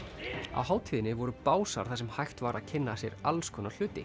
á hátíðinni voru básar þar sem hægt var að kynna sér alls konar hluti